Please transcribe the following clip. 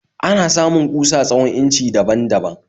Ana samun kusa tsawon inci daban baban